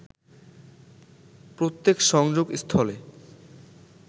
প্রত্যেক সংযোগস্থলে